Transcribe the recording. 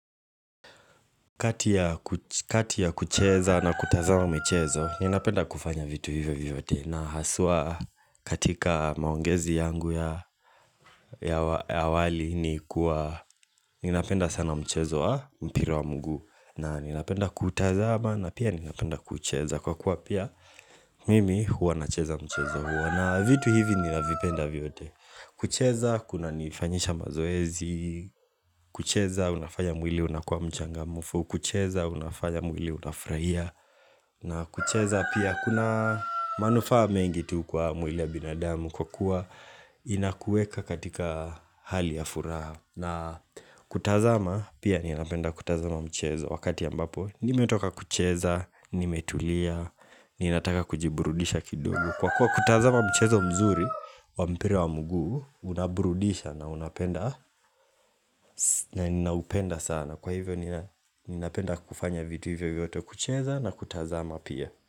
Kati ya kucheza na kutazama michezo, ninapenda kufanya vitu hivyo vyote. Na haswa katika maongezi yangu ya awali ni kuwa ninapenda sana mchezo wa mpira wa mguu. Na ninapenda kutazama na pia ninapenda kucheza kwa kuwa pia mimi huwa nacheza mchezo huo. Na vitu hivi ninapenda vyote. Kucheza kunanifanyisha mazoezi. Kucheza, unafanya mwili unakuwa mchangamfu. Kukucheza unafanya mwili unafurahia na kucheza pia kuna manufaa mengi tu kwa mwili ya binadamu kwa kuwa inakuweka katika hali ya furaha, na kutazama pia ninapenda kutazama mchezo wakati ambapo nimetoka kucheza, nimetulia Ninataka kujiburudisha kidogo. Kwa kuwa kutazama mchezo mzuri wa mpira wa mguu, unaburudisha na unapenda na ninaupenda sana. Kwa hivyo ninapenda kufanya vitu hivyo vyote kucheza na kutazama pia.